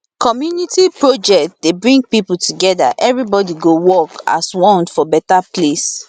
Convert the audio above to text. community project dey bring people together everybody go work as one for better place